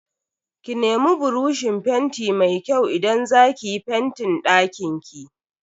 Ki nemi buroshin fenti mai kyau idan za ki yi fentin dakinki.